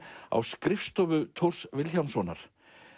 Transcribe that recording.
á skrifstofu Thors Vilhjálmssonar